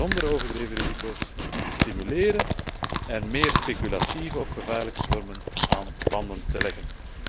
zonder overdreven risico's te stimuleren en meer speculatieve of gevaarlijke vormen aan banden te leggen.